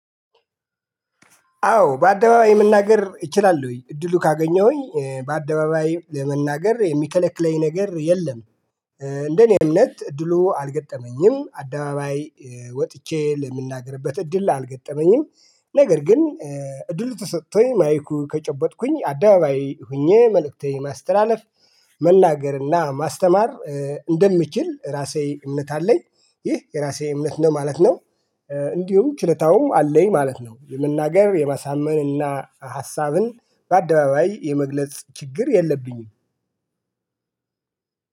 አዎ በአደባባይ መናገር እላለሁኝ እድሉ ካገኘሁኝ በአደባባይ ለመናገር የሚከለክለኝ ነገር የለም። እንደኔ እምነት እድሉ አልገጠመኝም አደባባይ ወጥቼ ለምናገርበት እድል አልገጠመኝም። ነገር ግን እድሉ ተሰጥቶኝ ማይኩ ከጨበጥኩኝ አደባባይ ሆኜ መልእክቴ ማስተላለፍ መናገር እና ማስተማር እንደምችል ራሴ እምነት አለኝ። ይህ የራሴ እምነት ነው ማለት ነው። እንዲሁ ችሎታውም አለኝ ማለት ነው የመናገር የማሳመን እና ሐሳብን በአደባባይ የመግለጽ ችግር የለብኝም።